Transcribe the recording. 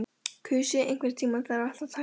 Kusi, einhvern tímann þarf allt að taka enda.